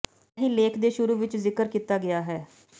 ਇਹ ਹੀ ਲੇਖ ਦੇ ਸ਼ੁਰੂ ਵਿਚ ਜ਼ਿਕਰ ਕੀਤਾ ਗਿਆ ਹੈ